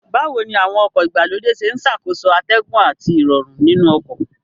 Báwo ni àwọn ọkọ̀ ìgbàlódé ṣe ń ṣàkóso atẹ́gùn àti Ìrọ̀rùn nínú ọkọ̀